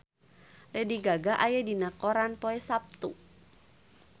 Lady Gaga aya dina koran poe Saptu